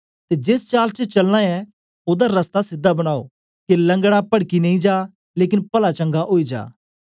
ते जेस चाल च चलना ऐ ओदा रस्ता सीधा बनाओ के लंगड़ा पड़की नेई जा लेकन पला चंगा ओई जा